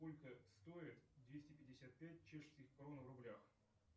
сколько стоит двести пятьдесят пять чешских крон в рублях